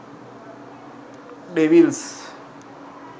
devils